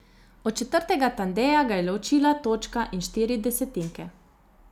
Od četrtega Tandeja ga je ločila točka in štiri desetinke.